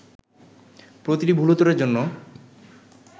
প্রতিটি ভুল উত্তরের জন্য